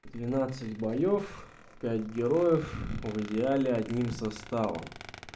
двенадцать боёв пять героев в идеале одним составом